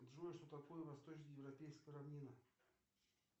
джой что такое восточно европейская равнина